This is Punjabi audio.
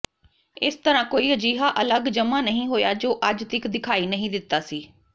ਇਸ ਤਰ੍ਹਾਂ ਕੋਈ ਅਜਿਹਾ ਅੱਲਗ ਜਮਾ ਨਹੀਂ ਹੋਇਆ ਜੋ ਅੱਜ ਤੀਕ ਦਿਖਾਈ ਨਹੀਂ ਦਿੱਤਾ ਸੀ